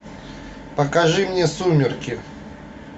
покажи мне сумерки